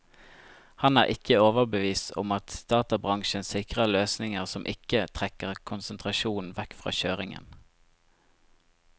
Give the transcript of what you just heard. Han er ikke overbevist om at databransjen sikrer løsninger som ikke trekker konsentrasjonen vekk fra kjøringen.